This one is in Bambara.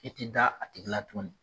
I ti da a tigi la tuguni .